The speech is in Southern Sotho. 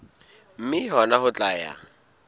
mme hona ho tla ya